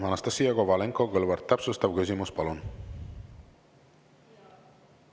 Anastassia Kovalenko-Kõlvart, täpsustav küsimus, palun!